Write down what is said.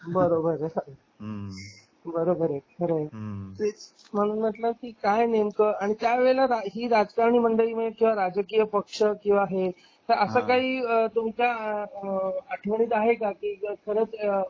बरोबर आहे. हम्म बरोबर आहे. खरंय तेच म्हटलं की काय नेमकं आणि त्या वेळी काही राजकारणी मंडळी राजकीय पक्ष किंवा हे असं काही तुमच्या आठवणीत आहे का की खरंच